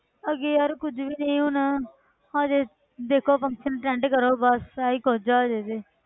ਅੱਗੇ ਯਾਰ ਕੁੱਝ ਵੀ ਨੀ ਹੁਣ ਹਜੇ ਦੇਖੋ function attend ਕਰੋ ਬਸ ਆਹੀ ਕੁੱਝ ਆ ਹਜੇ ਤੇ।